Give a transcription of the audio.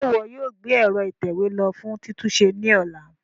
Ṣe iwọ yoo gbe ẹ̀ro itẹwe lo fun titunṣe ni ọla?